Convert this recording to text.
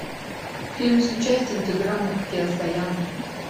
фильм с участием тиграна кеосаяна